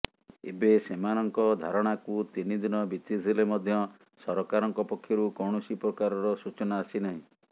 ଏବେ ସେମାନଙ୍କ ଧାରଣାକୁ ତିନିଦିନ ବିତିଥିଲେ ମଧ୍ୟ ସରକାରଙ୍କ ପକ୍ଷରୁ କୌଣସି ପ୍ରକାରର ସୂଚନା ଆସିନାହିଁ